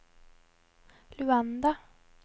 Luanda